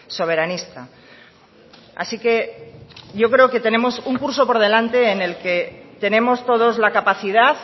soberanista así que yo creo que tenemos un curso por delante en el que tenemos todos la capacidad